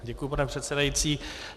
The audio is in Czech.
Děkuji, pane předsedající.